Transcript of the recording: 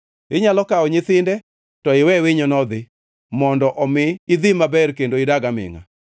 Inyalo kawo nyithinde to iwe winyono odhi, mondo omi idhi maber kendo idag amingʼa.